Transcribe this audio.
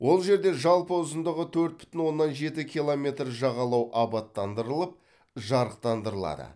ол жерде жалпы ұзындығы төрт бүтін оннан жеті километр жағалау абаттандырылып жарықтандырылады